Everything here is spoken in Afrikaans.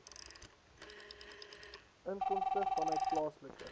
inkomste vanuit plaaslike